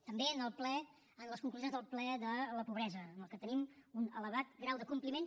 també en les conclusions del ple de la pobresa en què tenim un elevat grau de compliment